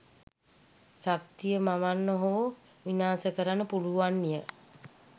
ශක්තිය මවන්න හෝ විනාස කරන්න පුළුවන් ය